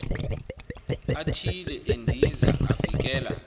athile endiza avikela